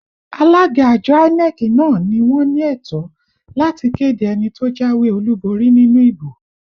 Alága àjọ INEC náà ni wọ́n ní ẹ̀tọ́ láti kéde ẹni tó jáwé olúborí nínú ìbò